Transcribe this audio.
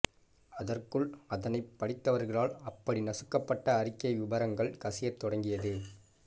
அதற்குள் அதனைப் படித்தவர்களால் அப்படி நசுக்கப்பட்ட அறிக்கை விவரங்கள் கசியத்தொடங்கியது